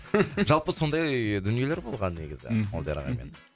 жалпы сондай дүниелер болған негізі молдияр ағаймен